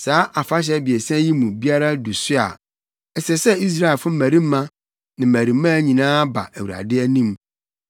Saa afahyɛ abiɛsa yi mu biara du so a, ɛsɛ sɛ Israelfo mmarima ne mmarimaa nyinaa ba Awurade anim.